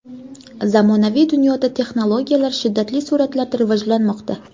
Zamonaviy dunyoda texnologiyalar shiddatli sur’atlarda rivojlanmoqda.